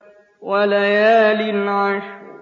وَلَيَالٍ عَشْرٍ